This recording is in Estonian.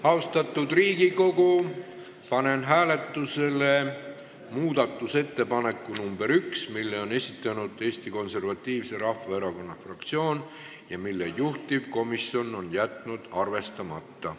Austatud Riigikogu, panen hääletusele Eesti Konservatiivse Rahvaerakonna fraktsiooni ettepaneku eelnõu 590 teine lugemine katkestada.